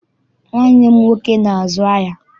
Nwanne m nwoke na-azu ahịa.